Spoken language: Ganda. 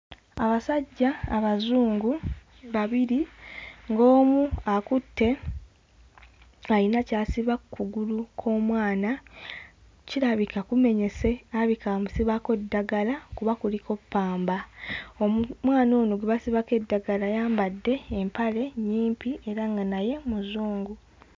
Abasajja abazungu babiri ng'omu akutte ayina ky'asiba kkugulu kw'omwana kirabika kumenyese alabika amusibako ddalagala kuba kuliko ppamba omu mwana ono gwe basibako eddagala ayambadde empale nnyimpi era nga naye muzungu.